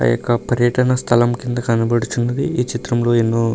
ఇది ఒక పర్యటన స్థలం కింద కనబడుచున్నది ఈ చిత్రంలో ఎన్నో --